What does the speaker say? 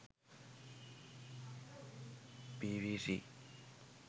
pvc